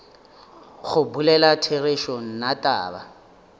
go bolela therešo nna taba